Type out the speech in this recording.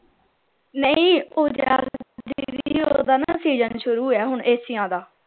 ਨਹੀਂ ਉਹ ਓਹਦਾ ਨਾ season ਸ਼ੁਰ ਏ ਹੁਣ ਐਸੀਆਂ ਦਾ